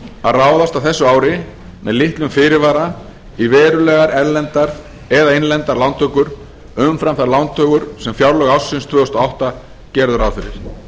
að ráðast á þessu ári með litlum fyrirvara í verulegar erlendar eða innlendar lántökur umfram þær lántökur sem fjárlög ársins tvö þúsund og átta gerðu ráð fyrir